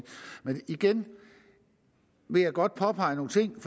igen vil jeg godt påpege nogle ting